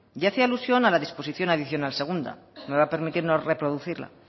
y hacía alusión a la disposición adicional segunda me va a permitir no reproducirla